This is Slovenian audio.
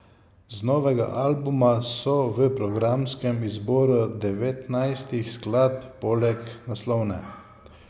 Z novega albuma so v programskem izboru devetnajstih skladb poleg naslovne ...